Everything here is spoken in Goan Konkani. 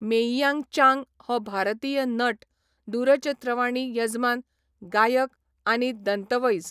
मेइयांग चांग हो भारतीय नट, दूरचित्रवाणी यजमान, गायक, आनी दंतवैज.